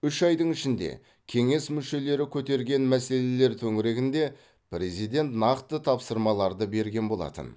үш айдың ішінде кеңес мүшелері көтерген мәселелелер төңірегінде президент нақты тапсырмаларды берген болатын